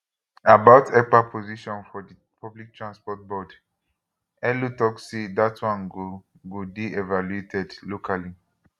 about ekpa position for di public transport board elo tok say dat one go go dey evaluated locally